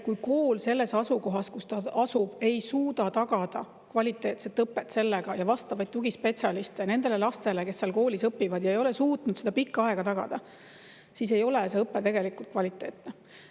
Kui kool selles asukohas, kus ta asub, ei suuda tagada kvaliteetset õpet ja vastavaid tugispetsialiste nendele lastele, kes seal koolis õpivad, ja ei ole suutnud seda pikka aega tagada, siis ei ole õpe tegelikult kvaliteetne.